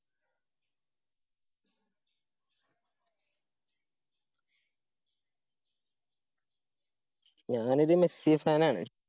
ഞാനൊരു Messi fan ആണ്.